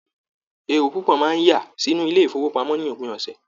Èrò pupo máa n yà sínú ilé ifowopamọ ní òpin ọsẹ.